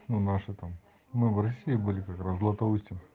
ну наши там мы в россии были как раз в златоусте